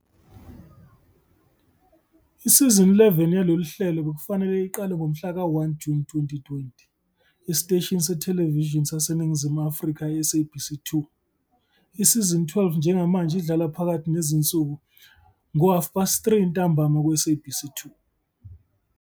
Isizini 11 yalolu hlelo bekufanele iqale ngomhlaka 1 Juni 2020 esiteshini sethelevishini saseNingizimu Afrika i- SABC 2. Isizini 12 njengamanje idlala phakathi nezinsuku ngo-half past three ntambama kuSabc2.